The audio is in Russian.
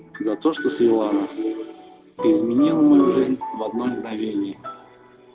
за то что свела нас ты изменил мою жизнь в одно мгновение